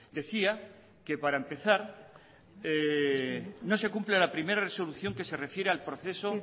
decía que para empezar no se cumple la primera resolución que se refiere al proceso